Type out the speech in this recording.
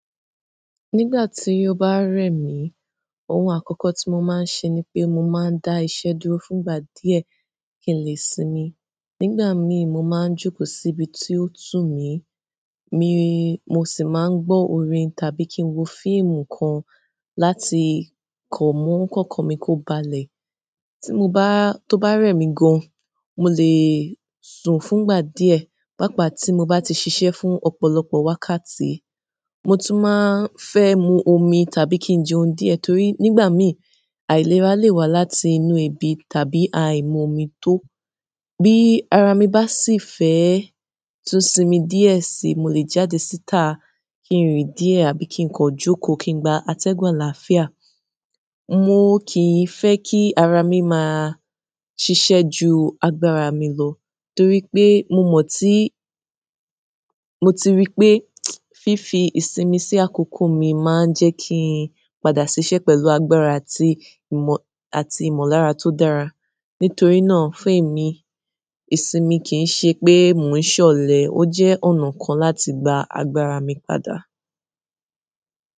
Nígbà tí ó bá rẹ̀ mí, ohun àkọ́kọ́ tí mo máa ń ṣe ni pé mo máa ń dá iṣẹ́ dúró fún ìgbà díẹ̀ kí n lè sinmi. Nígbà mi mo máa ń jókòó síbi tí ó tù mí, mi-- mo sì máa ń gbọ́ orin tàbí kí n wo fíìmù kan láti kan mú kọ́kan mi kó balẹ̀. Ti mo ba, tó bá rẹ̀mi gan molè sùn fún ìgbà diẹ pàapa ti mo ba ti siṣẹ́ fún ọ́pọ̀lọpọ̀ wákàtí. Mo tún máa ń fẹ́ mu omi tàbí kí n jẹoún diẹ torí nígbà mi, àìlera lè wá láti inú ebi tàbí àìmun omi tó. Bi árá mi ba sì fẹ tún simi diẹ si, mo le jáde síta ki nrin diẹ àbí ki nkan joko ki ngba atẹgun alààfià. Mo kì í fẹ́ kí ara mi máa ṣiṣẹ́ ju agbára mi lọ torí pé mo mọ̀ tí, mo ti rí pé fífi ìsinmi sí àkókò mi máa ń jẹ́ kí n padà ṣiṣẹ́ pẹ̀lú agbára àti ìmọ̀, àti ìmọ̀lára tó dára. Nítorí náà fún èmi, ìsinmi kì í ṣe pé mò ń ṣọlẹ̀, ó jẹ́ ọ̀nà kan láti gba agbára mi padà.